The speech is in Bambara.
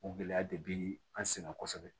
O gɛlɛya de bɛ an sɛgɛn kosɛbɛ